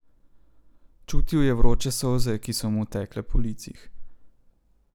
Čutil je vroče solze, ki so mu tekle po licih.